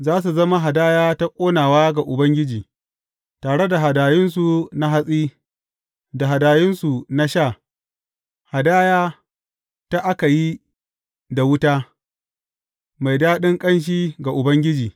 Za su zama hadaya ta ƙonawa ga Ubangiji, tare da hadayunsu na hatsi, da hadayunsu na sha, hadaya da aka yi da wuta, mai daɗin ƙanshi ga Ubangiji.